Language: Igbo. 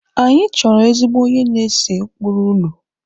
Anyị chọrọ ezigbo onye na-ese ụkpụrụ ụlọ